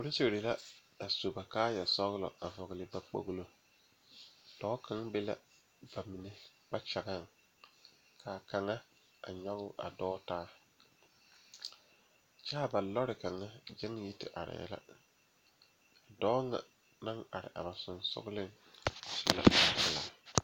Polisiiri la su ba kaaya sɔglɔ vɔgle ba kpolo dɔɔ kaŋ be la bamine kpakyɛga kaa kaŋa a nyoŋ a dɔɔ taa kyɛ ba lɔre kaŋa gyaŋ yi te are la a dɔɔ nyɛ naŋ are ba sonsogle su la kpare pelaa.